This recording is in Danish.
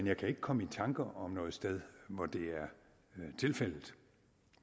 jeg kan ikke komme i tanke om noget sted hvor det er tilfældet